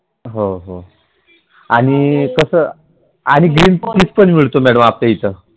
हो हो आणि कस आणि Cream Cheese पण मिळतो Madam आपल्या इथ